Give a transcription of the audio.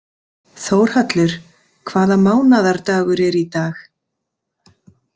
Þórhallur, hvaða mánaðardagur er í dag?